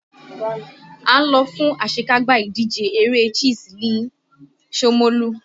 À ń lọ fún àṣekágbá ìdíje eré chess ni shomolu